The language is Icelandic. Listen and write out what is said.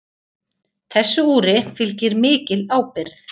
Þessu úri fylgir mikil ábyrgð.